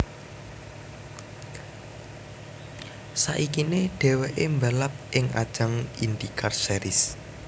Saikine dheweke mbalap ing ajang IndyCar Series